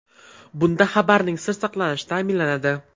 Bunda xabarning sir saqlanishi ta’minlanadi.